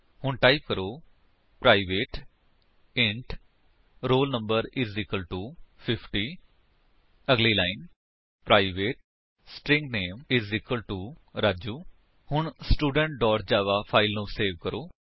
ਹੁਣ ਟਾਈਪ ਕਰੋ private int roll no 50 ਅਗਲੀ line private string name Raju ਹੁਣ ਸਟੂਡੈਂਟ ਜਾਵਾ ਫਾਇਲ ਨੂੰ ਸੇਵ ਕਰੋ